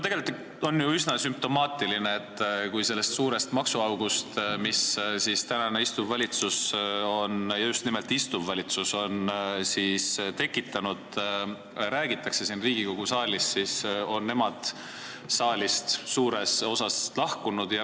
Tegelikult on ju üsna sümptomaatiline, et kui siin Riigikogu saalis räägitakse sellest suurest maksuaugust, mille istuv valitsus on tekitanud, siis on koalitsioon saalist suures osas lahkunud.